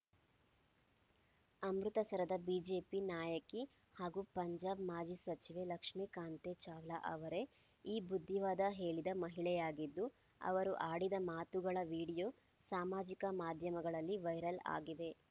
ಅಮೃತಸರದ BJP ನಾಯಕಿ ಹಾಗೂ ಪಂಜಾಬ್‌ ಮಾಜಿ ಸಚಿವೆ ಲಕ್ಷ್ಮೀಕಾಂತೆ ಚಾವ್ಲಾ ಅವರೇ ಈ ಬುದ್ಧಿವಾದ ಹೇಳಿದ ಮಹಿಳೆಯಾಗಿದ್ದು ಅವರು ಆಡಿದ ಮಾತುಗಳ ವಿಡಿಯೋ ಸಾಮಾಜಿಕ ಮಾಧ್ಯಮಗಳಲ್ಲಿ ವೈರಲ್‌ ಆಗಿದೆ